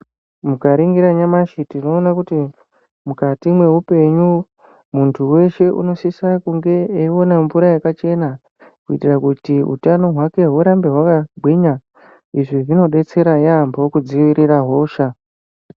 Mukaringira nyamashi tinoone kuti mukati mweupenu muntu weshe unosisa kunge eiwane mvura yakachena kuitira kuti utano hwake hurambe hwakagwinya izvi zvinodetserahe yaampo kudzivirira hosha.